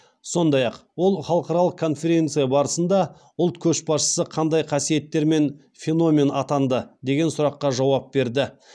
сондай ақ ол халықаралық конференция барысында ұлт көшбасшысы қандай қасиеттерімен феномен атанды деген сұрақа жауап берді